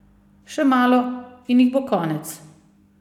Še malo in jih bo konec!